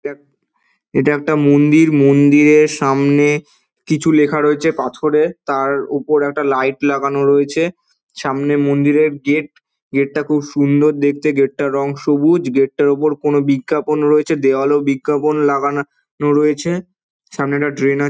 এ এটা একটা মন্দির। মন্দিরের সামনে কিছু লেখা রয়েছে পাথরে। তার উপরে একটা লাইট লাগানো রয়েছে। সামনে মন্দিরের গেট । গেট টা খুব সুন্দর দেখতে গেট তার রং সবুজ। গেট টার উপর কোনো বিজ্ঞাপন রয়েছে দেওয়ালেও বিজ্ঞাপন লাগানা রয়েছে। সামনেটা ড্রেন আ--